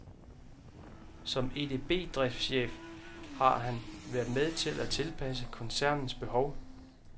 Som EDBdriftschef har han været med til at tilpasse koncernens behov.